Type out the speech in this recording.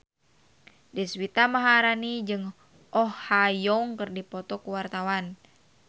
Deswita Maharani jeung Oh Ha Young keur dipoto ku wartawan